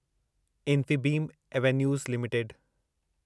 Infibeam Avenues limited